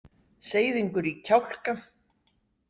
Seiðingur í kjálka.